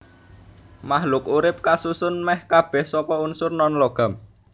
Makhluk urip kasusun mèh kabèh saka unsur nonlogam